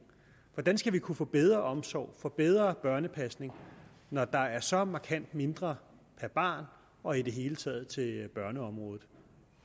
hvordan skal vi kunne få bedre omsorg få bedre børnepasning når der er så markant mindre per barn og i det hele taget til børneområdet